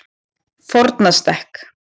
Fornastekk